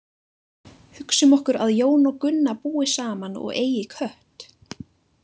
Hugsum okkur að Jón og Gunna búi saman og eigi kött.